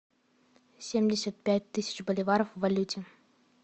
семьдесят пять тысяч боливаров в валюте